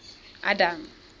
adam